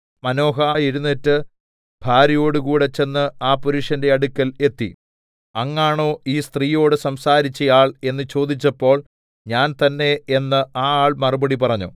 Manoah എഴുന്നേറ്റ് ഭാര്യയോടുകൂടെ ചെന്ന് ആ പുരുഷന്റെ അടുക്കൽ എത്തി അങ്ങാണോ ഈ സ്ത്രീയോട് സംസാരിച്ച ആൾ എന്ന് ചോദിച്ചപ്പോൾ ഞാൻ തന്നേ എന്ന് ആ ആൾ മറുപടി പറഞ്ഞു